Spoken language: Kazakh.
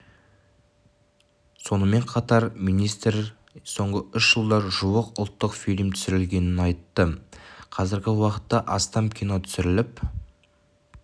сонымен қатар министр соңғы үш жылда жуық ұлттық фильм түсірілгенін айтты қазіргі уақытта астам кино түсіріліп